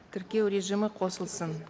тіркеу режимі қосылсын